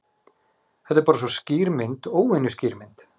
Þetta er bara svo skýr mynd. óvenju skýr mynd.